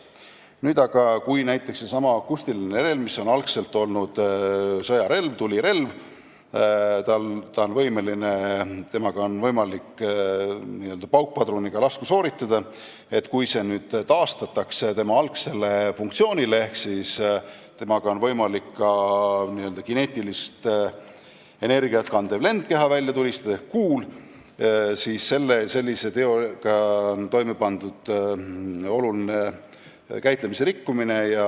Nüüd aga on sellesama akustilise relvaga, mis on algselt olnud sõjarelv, tulirelv, võimalik n-ö paukpadruniga lasku sooritada ning kui see nüüd taastatakse tema algsele funktsioonile ja sellega on võimalik välja tulistada ka kineetilist energiat kandev lendkeha ehk kuul, siis on sellise teoga toime pandud oluline käitlemise rikkumine.